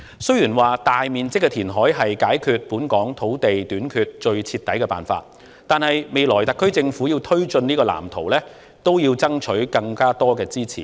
雖然說大面積填海是解決本港土地短缺最徹底的辦法，但特區政府未來要推進這個藍圖，也要爭取更多支持。